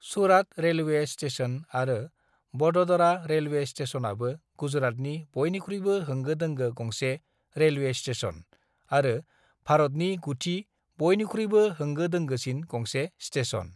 Surat railway station आरो Vadodara railway स्टेशनआबो गुजरातनि बयनिख्रुइबो होंगो-दोंगो गंसे रेलवे स्टेशन आरो भारतनि गुथि बयनिख्रुइबो होंगो-दोंगोसिन गंसे स्टेशन।